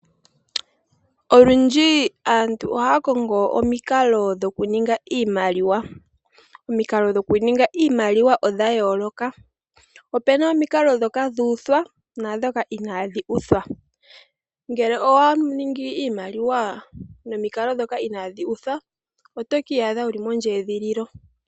Olwindji aantu ohaya kongo omikalo dhoku ninga iimaliwa. Omikalo dhoku ninga iimaliwa odha yooloka, opuna omikalo ndhoka dha pitikwa osho wo ndhoka inadhi pitikwa. Ngele owa ningi iimaliwa nomikalo ndhoka inadhi pitikwa otoka adha wuli mondjedhililo.